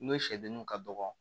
N'o sɛdenninw ka dɔgɔ